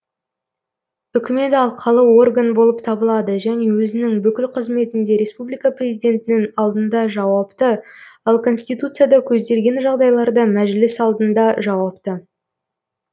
үкімет алқалы орган болып табылады және өзінің бүкіл қызметінде республика президентінің алдында жауапты ал конституцияда көзделген жағдайларда мәжіліс алдында жауапты